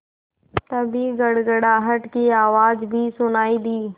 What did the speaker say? तभी गड़गड़ाहट की आवाज़ भी सुनाई दी